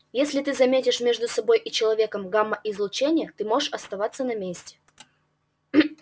если ты заметишь между собой и человеком гамма-излучение ты можешь оставаться на месте